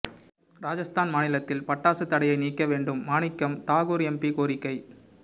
ராஜஸ்தான் மாநிலத்தில் பட்டாசு தடையை நீக்க வேண்டும் மாணிக்கம் தாகூர் எம்பி கோரிக்கை